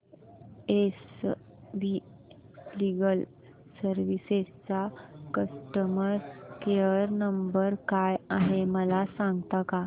S V legal services चा customer care number काय आहे मला सांगता का